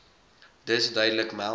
dus duidelik meld